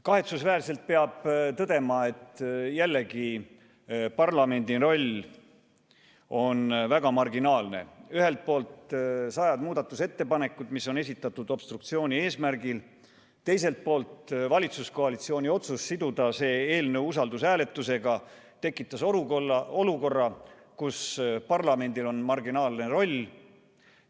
Kahetsusväärselt peab tõdema, et jälle on parlamendi roll väga marginaalne – ühelt poolt sajad muudatusettepanekud, mis on esitatud obstruktsiooni eesmärgil, ja teiselt poolt valitsuskoalitsiooni otsus siduda see eelnõu usaldushääletusega on tekitanud olukorra, kus parlamendil on marginaalne roll.